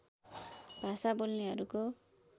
भाषा बोल्नेहरूको